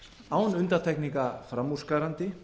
án undantekninga framúrskarandi